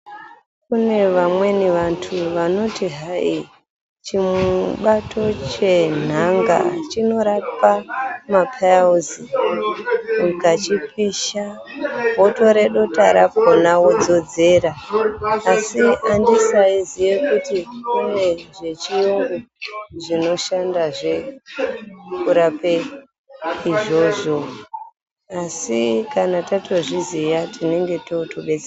Kune vamweni vantu vanoti hai chibato chenhanga chinorapa maPiles, ukachipisha wotore dota rakona wodzodzera. Asi andisaiziye kuti kune zvechiyungu zvinoshande zve kurape izvozvo, asi kana tazviziya tatodetsereka.